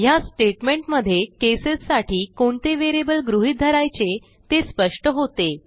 ह्या स्टेटमेंट मध्ये केसेस साठी कोणते व्हेरिएबल गृहीत धरायचे ते स्पष्ट होते